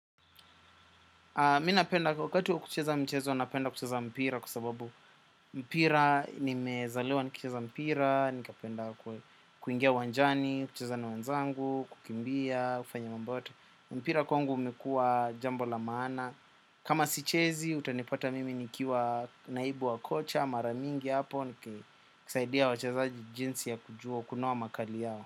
Mi napenda, wakati wa kucheza mchezo, napenda kucheza mpira kwa sababu mpira, nimezaliwa nikicheza mpira, nikapenda kuingia uwanjani, kucheza na wenzangu, kukimbia, kufanya mambo yote. Mpira kwangu umekuwa jambo la maana. Kama sichezi, utanipata mimi nikiwa naibu wa kocha, mara mingi hapo, nikisaidia wachezaji jinsi ya kujua, kunoa makali yao.